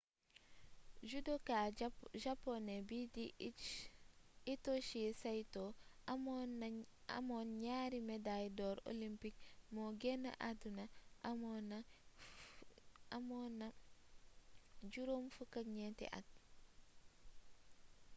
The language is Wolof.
judoka japoné bii di hitoshi saito amoon ñaari medaay dor olympique moo génn àdduna amoon na 54 at